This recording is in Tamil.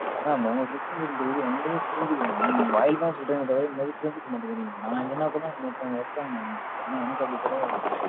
mam உங்க situation புரியுது, என்னுதையும் புரிஞ்சுக்கணும் mam நீங்க வாயில தான் சொல்றீங்களே தவிர, இந்த மாதிரி புரிஞ்சுக்க மாட்டேங்கிறீங்க. நான் இல்ல நான் கூட இன்னொருதங்க இருக்காங்க, ஆனா எனக்கு அப்படி கிடையாது